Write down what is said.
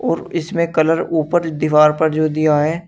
और इसमें कलर ऊपर दीवार पर जो दिया है।